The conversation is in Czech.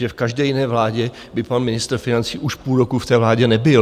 Že v každé jiné vládě by pan ministr financí už půl roku v té vládě nebyl.